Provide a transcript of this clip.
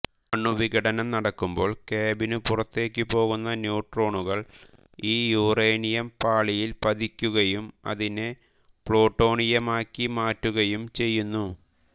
അണുവിഘടനം നടക്കുമ്പോൾ കാമ്പിനു പുറത്തേക്കു പോകുന്ന ന്യൂട്രോണുകൾ ഈ യുറേനിയം പാളിയിൽ പതിക്കുകയും അതിനെ പ്ലൂട്ടോണിയമാക്കി മാറ്റുകയും ചെയ്യുന്നു